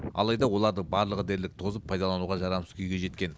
алайда олардың барлығы дерлік тозып пайдалануға жарамсыз күйге жеткен